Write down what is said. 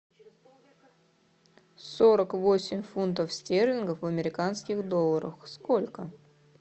сорок восемь фунтов стерлингов в американских долларах сколько